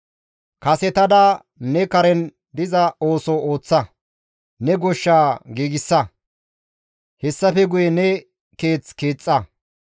Kasetada ne karen diza ooso ooththa; ne goshsha giigsa; hessafe guye ne keeth keexxa.